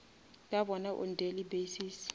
ke bona on daily basis